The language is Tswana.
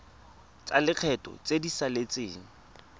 tsa lekgetho tse di saletseng